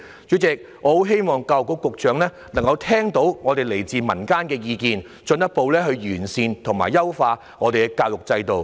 主席，我十分希望教育局局長能夠聽到這些來自民間的意見，進一步完善我們的教育制度。